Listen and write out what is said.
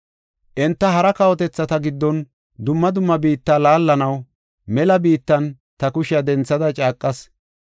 Enta hara kawotethata giddonne dumma dumma biitta laallanaw mela biittan ta kushiya denthada caaqas.